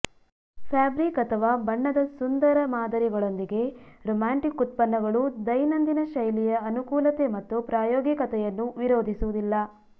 fabric ಅಥವಾ ಬಣ್ಣದ ಸುಂದರ ಮಾದರಿಗಳೊಂದಿಗೆ ರೋಮ್ಯಾಂಟಿಕ್ ಉತ್ಪನ್ನಗಳು ದೈನಂದಿನ ಶೈಲಿಯ ಅನುಕೂಲತೆ ಮತ್ತು ಪ್ರಾಯೋಗಿಕತೆಯನ್ನು ವಿರೋಧಿಸುವುದಿಲ್ಲ